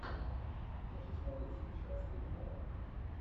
хочу смотреть сейчас криминал